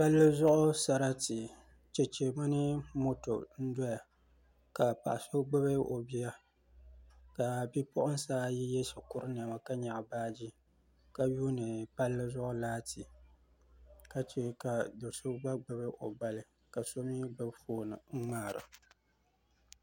Palli zuɣu sarati chɛchɛ mini moto n doya ka paɣa so gbubi o bia ka bipuɣunsi ayi yɛ shikuru niɛma ka nyaɣa baaji ka yuundi palli zuɣu laati ka chɛ ka do so gba gbubi o gbali ka so mii gbubi foob n ŋmaaro